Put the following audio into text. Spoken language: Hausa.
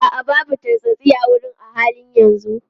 A'a, babu tartsatsi a wurin a halin yanzu.